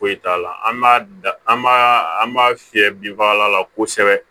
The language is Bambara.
Foyi t'a la an b'a da an b'a an b'a fiyɛ binfagalan la kosɛbɛ